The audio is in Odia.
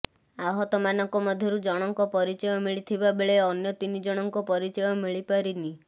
ଆହତମାନଙ୍କ ମଧ୍ୟରୁ ଜଣଙ୍କର ପରିଚୟ ମିଳିଥିବା ବେଳେ ଅନ୍ୟ ତିନିଜଣଙ୍କ ପରିଚୟ ମିଳିପାରିନି